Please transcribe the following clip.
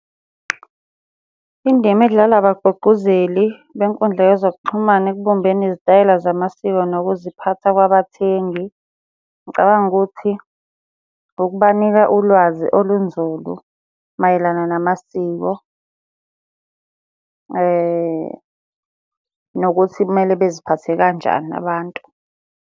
Indima edlalwa abagqugquzeli benkundla yezokuxhumana ekubumbeni izitayela zamasiko nokuziphatha kwabathengi. Ngicabanga ukuthi ukubanika ulwazi olunzulu mayelana namasiko, nokuthi kumele baziphathe kanjani abantu.